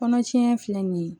Kɔnɔ tiɲɛ filɛ nin ye